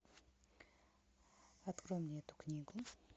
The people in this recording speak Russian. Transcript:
открой мне эту книгу